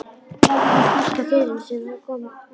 Gerði þá stórt á firðinum sem þar kann oft verða.